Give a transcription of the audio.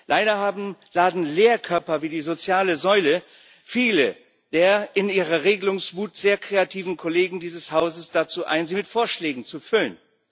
Leider laden Leerkörper wie die soziale Säule viele der in ihrer Regelungswut sehr kreativen Kollegen dieses Hauses dazu ein, sie mit Vorschlägen zu füllen.